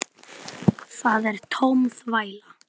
Það er tóm þvæla.